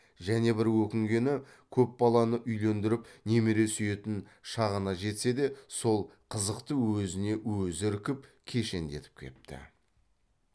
және бір өкінгені көп баланы үйлендіріп немере сүйетін шағына жетсе де сол қызықты өзіне өзі іркіп кешендетіп кепті